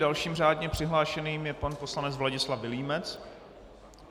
Dalším řádně přihlášeným je pan poslanec Vladislav Vilímec.